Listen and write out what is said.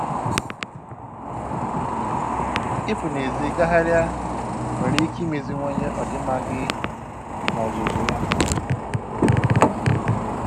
Ịpụ n'èzí gagharịa nwere ike imeziwanye ọdịmma gị n'ozuzu ya